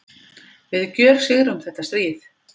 Við gjörsigrum þetta stríð!